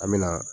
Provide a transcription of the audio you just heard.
An me na